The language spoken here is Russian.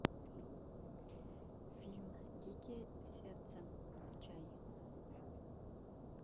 фильм дикие сердцем включай